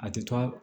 A tɛ to a